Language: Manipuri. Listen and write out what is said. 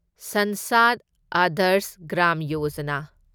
ꯁꯟꯁꯥꯗ ꯑꯗꯔꯁ ꯒ꯭ꯔꯥꯝ ꯌꯣꯖꯥꯅꯥ